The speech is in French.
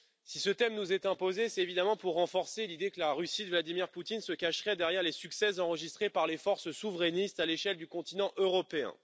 Si ce thème nous est imposé, c'est évidemment pour renforcer l'idée que la Russie de Vladimir Poutine se cacherait derrière les succès enregistrés par les forces souverainistes à l'échelle du continent européen.